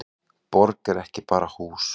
Borg er ekki bara hús.